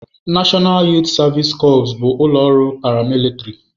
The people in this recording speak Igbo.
Nashọnal Yuut Savisi Cọps bụ ụlọ ọrụ paramilitịrị.